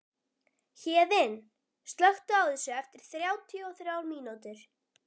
Héðinn, slökktu á þessu eftir þrjátíu og þrjár mínútur.